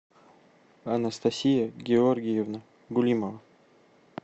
анастасия георгиевна гулимова